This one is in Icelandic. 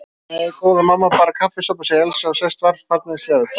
Nei, góða mamma, bara kaffisopa, segir Elsa og sest varfærnislega við borðið.